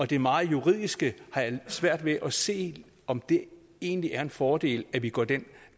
det meget juridiske har jeg svært ved at se om det egentlig er en fordel at vi går den